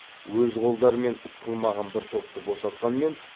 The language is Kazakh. өз қолдарымен іс қылмаған бір топты босатқанмен